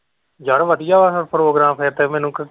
ਯਾਰ ਵਧੀਆ ਹੈ ਇਹ program ਫਿਰ ਤੇ ਮੈਨੂੰ .